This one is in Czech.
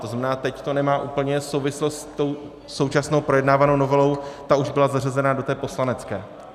To znamená, teď to nemá úplně souvislost s tou současnou projednávanou novelou, ta už byla zařazena do té poslanecké.